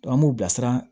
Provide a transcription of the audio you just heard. an b'u bilasira